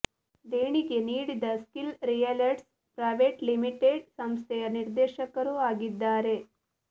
ದೇಣಿಗೆ ನೀಡಿದ Skill Realtors Private Limited ಸಂಸ್ಥೆಯ ನಿರ್ದೇಶಕರೂ ಆಗಿದ್ದಾರೆ